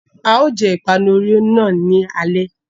A ó jẹ ìpanu Oreo náà ní alé.